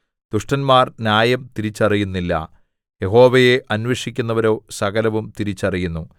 ദുഷ്ടന്മാർ ന്യായം തിരിച്ചറിയുന്നില്ല യഹോവയെ അന്വേഷിക്കുന്നവരോ സകലവും തിരിച്ചറിയുന്നു